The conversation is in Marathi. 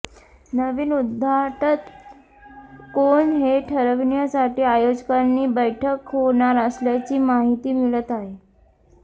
नवीन उद्धाटक कोण हे ठरविण्यासाठी आयोजकांची बैठक होणार असल्याची माहिती मिळत आहे